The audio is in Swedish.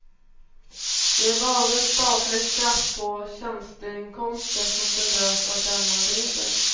Det är bara statlig skatt på tjänsteinkomster som berörs av denna regel.